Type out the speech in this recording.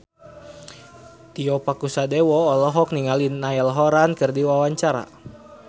Tio Pakusadewo olohok ningali Niall Horran keur diwawancara